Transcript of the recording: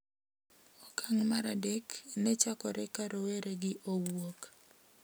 Okang` mar adek ne chakore ka rowere gi owuok,